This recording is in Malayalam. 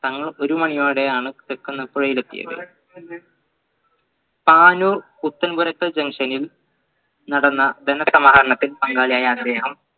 തങ്ങൾ ഒരു മണിയോടെയാണ് തൃക്കുന്നപുഴയിലെത്തിയത് പാനൂർ പുത്തൻപുരക്കൽ junction ൽ നടന്ന ധനസമാഹരണത്തിൽ പങ്കാളിയായ അദ്ദേഹം